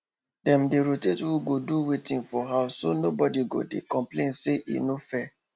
dem dey rotate who go do wetin for house so nobody go dey complain say e no fair